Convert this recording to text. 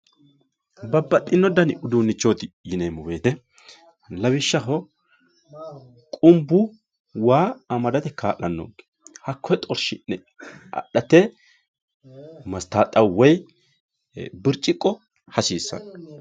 babbaxxino dani uduunnichooti yineemmo woyiite lawishshaho qumbu waa amadate kaa'lannonke hakkoyee xorshi'ne adhate mastaaxxawu woy birciqqo hasiissanno.